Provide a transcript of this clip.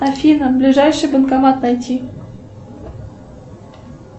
афина ближайший банкомат найти